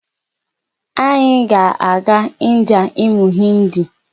Anyị ga-aga India ịmụ Hindi.